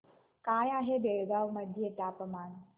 काय आहे बेळगाव मध्ये तापमान